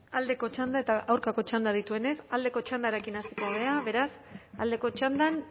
aldeko txanda eta aurkako txanda dituenez aldeko txandarekin hasiko gara beraz aldeko txandan